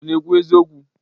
Ọ na-ekwu eziokwu?